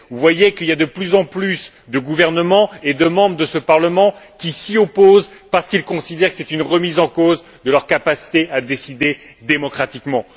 Vous voyez que de plus en plus de gouvernements et de membres de ce Parlement s'y opposent parce qu'ils considèrent que c'est une remise en cause de leur capacité à décider démocratiquement.